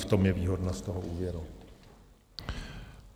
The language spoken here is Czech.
V tom je výhodnost z toho úvěru.